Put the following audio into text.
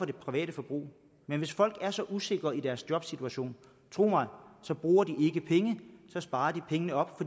det private forbrug men hvis folk er så usikre i deres jobsituation tro mig så bruger de ikke penge men sparer pengene op